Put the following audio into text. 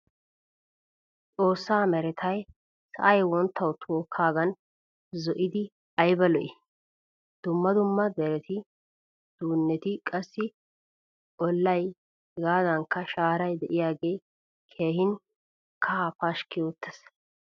Xoossaa merettay sa'ay wonttawu tokagan zo'idi ayba lo'i? Dumma dumma deretti duunetti qassi ollay hegadankka shaaray deiyagge keehin kaha pashki oottees.